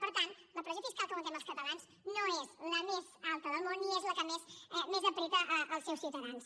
per tant la pressió fiscal que aguantem els catalans no és la més alta del món ni és la que més apreta els seus ciutadans